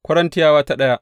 daya Korintiyawa Sura daya